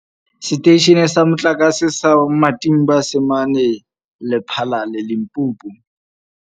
Seteishene sa Motlakase sa Matimba se mane Lephalale, Limpopo.